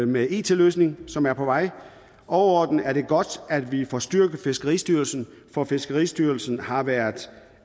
med en it løsning som er på vej overordnet er det godt at vi får styrket fiskeristyrelsen for fiskeristyrelsen har været